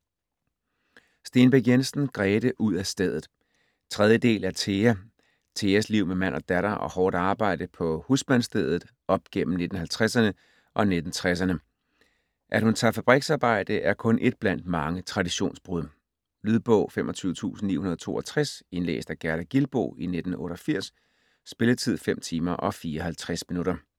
Stenbæk Jensen, Grete: Ud af stedet 3. del af Thea. Theas liv med mand og datter og hårdt arbejde på husmandsstedet, op gennem 1950'erne og 1960'erne. At hun tager fabriksarbejde er kun ét blandt mange traditionsbrud. Lydbog 25962 Indlæst af Gerda Gilboe, 1988. Spilletid: 5 timer, 54 minutter.